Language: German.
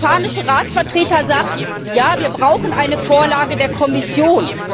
Der spanische Ratsvertreter sagt Ja, wir brauchen eine Vorlage der Kommission.